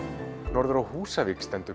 norður á Húsavík stendur